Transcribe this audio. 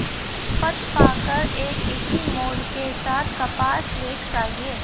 पथपाकर एक इसी मोड के साथ कपास लेख चाहिए